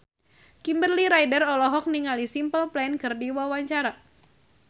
Kimberly Ryder olohok ningali Simple Plan keur diwawancara